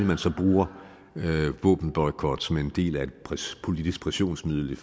man så bruger våbenboykot som en del af et politisk pressionsmiddel